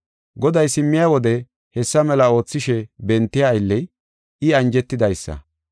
Goday simmiya wode hessa mela oothishe bentiya aylley, I anjetidaysa